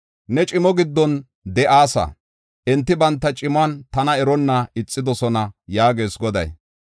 Ne cimo giddon de7aasa; enti banta cimuwan tana eronna ixidosona” yaagees Goday.